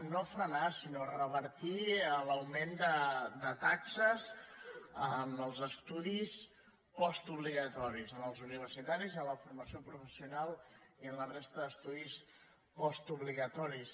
no frenar sinó revertir l’augment de taxes en els estudis postobligatoris en els universitaris en la formació professional i en la resta d’estudis postobligatoris